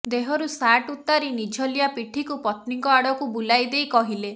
ଦେହରୁ ସାର୍ଟ ଉତ୍ତାରି ନିଝଲିଆ ପିଠିକୁ ପତ୍ନୀଙ୍କ ଆଡକୁ ବୁଲାଇ ଦେଇ କହିଲେ